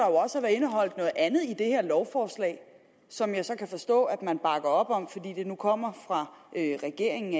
også være indeholdt noget andet i det her lovforslag som jeg så kan forstå at man bakker op om fordi det nu kommer fra regeringen